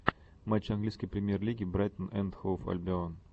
матчи английской премьер лиги брайтон энд хоув альбион